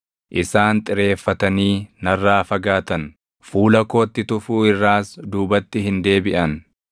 Isaan xireeffatanii narraa fagaatan; fuula kootti tufuu irraas duubatti hin deebiʼan.